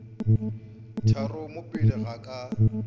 tharo mo pele ga ka